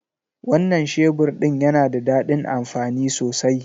Wannan shebur din yana da dadin amfani sosai.